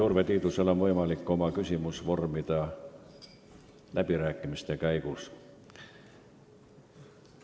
Urve Tiidusel on võimalik oma küsimus vormida ka läbirääkimiste käigus.